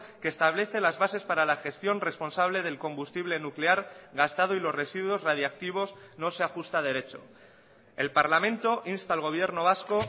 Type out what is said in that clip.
que establece las bases para la gestión responsable del combustible nuclear gastado y los residuos radiactivos no se ajusta derecho el parlamento insta al gobierno vasco